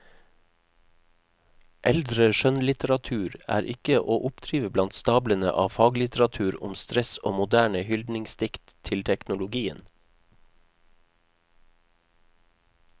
Eldre skjønnlitteratur er ikke å oppdrive blant stablene av faglitteratur om stress og moderne hyldningsdikt til teknologien.